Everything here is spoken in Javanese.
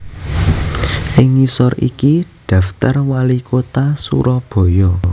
Ing ngisor iki daptar WaliKutha Surabaya